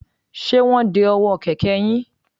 Ṣé wọ́n ń de ọwọ́ kẹ̀kẹ́ yín?